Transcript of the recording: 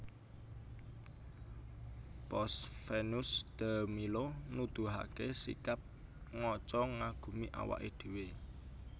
Pose Venus de Milo nuduhaké sikap ngaca ngagumi awaké dhéwé